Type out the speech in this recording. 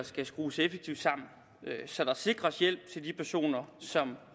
skal skrues effektivt sammen så der sikres hjælp til de personer som